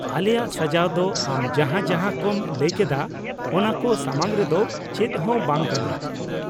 ᱟᱞᱮᱭᱟᱜ ᱥᱟᱡᱟᱣ ᱫᱚ ᱟᱢ ᱡᱟᱦᱟᱸ ᱡᱟᱦᱟᱸ ᱠᱚᱢ ᱞᱟᱹᱭ ᱠᱮᱫᱟ ᱚᱱᱟ ᱠᱚ ᱥᱟᱢᱟᱝ ᱨᱮᱫᱚ ᱪᱮᱫ ᱦᱚᱸ ᱵᱟᱝ ᱠᱟᱱᱟ ᱾